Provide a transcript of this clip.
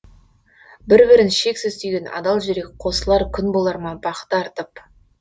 бір бірін шексіз сүйген адал жүрек қосылар күн болар ма бақыты артып